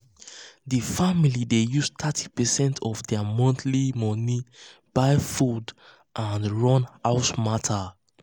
the family dey use thirty percent of their monthly money buy food and and run house matter.